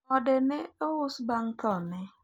ode ne ous bang thone